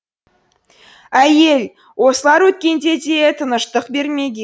ә й е л осылар өткенде де тыныштық бермеген